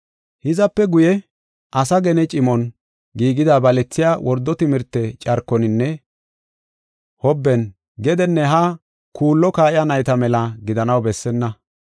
Hizape guye, asaa gene cimon giigida balethiya wordo timirte carkoninne hobben gedenne haa kuullo kaa7iya nayta mela gidanaw bessenna.